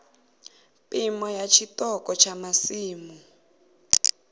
phimo ya tshiṱoko tsha masimu